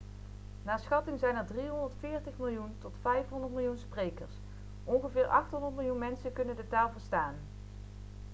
naar schatting zijn er 340 miljoen tot 500 miljoen sprekers ongeveer 800 miljoen mensen kunnen de taal verstaan